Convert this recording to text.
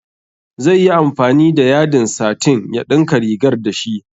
Zaiyi amfani da yadin satin ya ɗinka rigar dashi